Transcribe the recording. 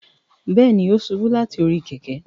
Bẹẹni, o ṣubu lati ori kẹ̀kẹ́